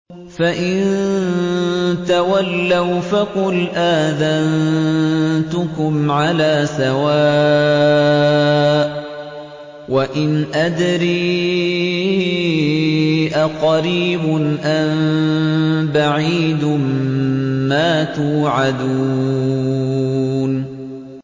فَإِن تَوَلَّوْا فَقُلْ آذَنتُكُمْ عَلَىٰ سَوَاءٍ ۖ وَإِنْ أَدْرِي أَقَرِيبٌ أَم بَعِيدٌ مَّا تُوعَدُونَ